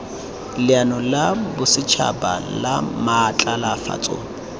leano la bosetšhaba la maatlafatso